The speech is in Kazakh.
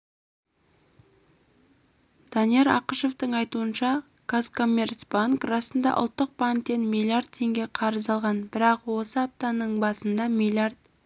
данияр ақышевтің айтуынша казкоммерцбанк расында ұлттық банктен миллиард теңге қарыз алған бірақ осы аптаның басында миллиард